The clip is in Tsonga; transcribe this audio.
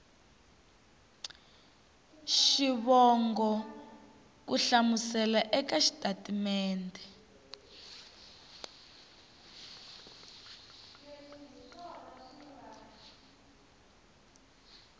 xivongo ku hlamusela eka xitatimede